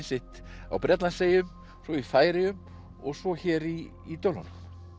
sitt á Bretlandseyjum svo í Færeyjum og svo hér í í Dölunum